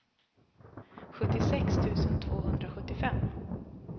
sjuttiosex tusen tvåhundrasjuttiofem